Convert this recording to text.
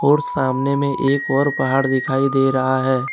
और सामने में एक और पहाड़ दिखाई दे रहा है।